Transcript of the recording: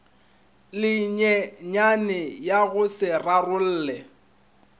lenyenyane ya go se rarolle